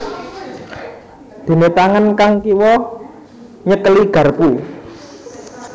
Déné tangan kang kiwa nyekeli garpu